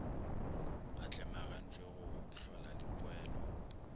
a tlemagantpwe go hlola dipoelo